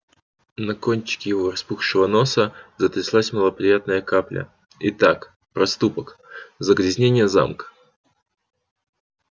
на кончике его распухшего носа затряслась малоприятная капля итак проступок загрязнение замка